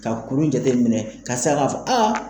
Ka kuru in jateminɛ ka sɔrɔ ka fɔ aa